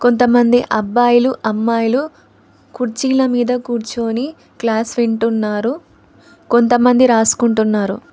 కొంతమంది అబ్బాయిలు అమ్మాయిలు కుర్చీల మీద కూర్చొని క్లాస్ వింటున్నారు కొంతమంది రాసుకుంటున్నారు